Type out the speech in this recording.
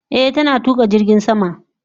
Eh, tana tuka jirgin sama.